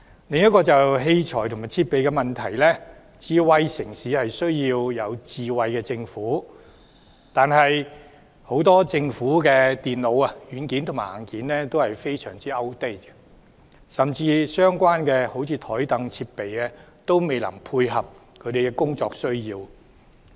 接下來是有關器材和設備的問題，智慧城市需要智慧政府，但政府很多電腦硬件和軟件都非常過時，甚至相關的桌椅設備也未能配合公務員的工作需要。